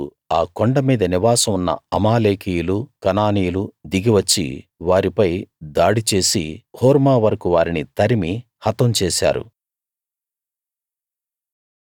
అప్పుడు ఆ కొండ మీద నివాసం ఉన్న అమాలేకీయులు కనానీయులు దిగి వచ్చి వారిపై దాడి చేసి హోర్మా వరకూ వారిని తరిమి హతం చేశారు